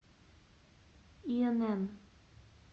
инн